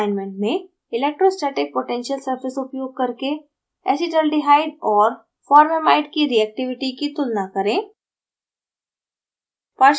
assignment में: electrostatic potential surface उपयोग करके acetaldehyde और formamide की reactivity प्रतिक्रिया की तुलना करें